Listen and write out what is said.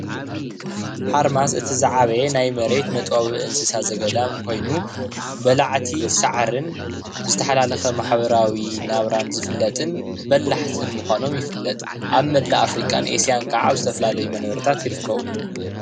ሓርማዝ እቲ ዝዓበየ ናይ መሬት መጥበዊ እንስሳ ዘገዳም ኮይኑ በላዕቲ ሳዕርን ብዝተሓላለኸ ማሕበራዊ ናብራን ዝፍለጥን በላሕትን ምኳኖም ይፍለጥ፡፡ ኣብ መላእ ኣፍሪካን ኤስያን ከዓ ዝተፈላለዩ መንበርታት ይርከቡ፡፡